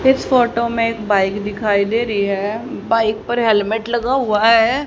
इस फोटो में एक बाइक दिखाई दे रही है बाइक पर हेलमेट लगा हुआ है।